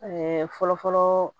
fɔlɔfɔlɔ